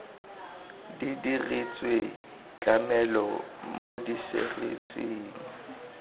di diretswe tlamelo mo diserising